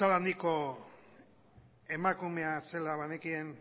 itzal handiko emakumea zela banekien